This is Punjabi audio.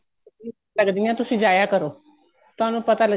ਲੱਗਦੀਆਂ ਤੁਸੀਂ ਜਾਇਆ ਕਰੋ ਤੁਹਾਨੂੰ ਪਤਾ ਲੱਗੇ